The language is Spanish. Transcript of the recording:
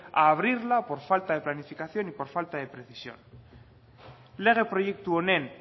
a abrirla por falta de planificación y por falta de precisión lege proiektu honen